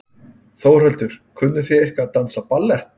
Þórhildur: Kunnið þið eitthvað að dansa ballett?